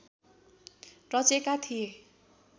रचेका थिए